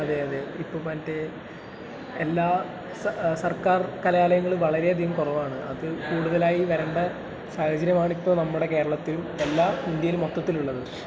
അതെയതെ, ഇപ്പൊ മറ്റേ എല്ലാ സർക്കാർ കലാലയങ്ങളും വളരെയധികം കുറവാണു, അത് കൂടുതലായി വരണ്ട സാഹചര്യമാണ് ഇപ്പൊ നമ്മുടെ കേരളത്തിലും എല്ലാ...ഇന്ത്യയിലും മൊത്തത്തിലുള്ളത്.